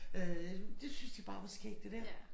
Øh det syntes de bare var skægt det der